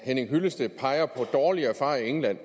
henning hyllested peger på dårlige erfaringer i england